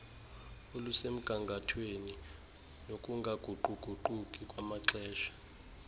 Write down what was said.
olusemgangathweni nokungaguquguquki namaxesha